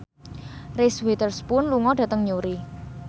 Reese Witherspoon lunga dhateng Newry